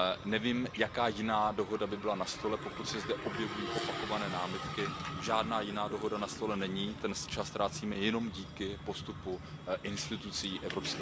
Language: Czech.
Nevím, jaká jiná dohoda by byla na stole, pokud se zde objevují opakované námitky, žádná jiná dohoda na stole není, ten čas ztrácíme jenom díky postupu institucí EU.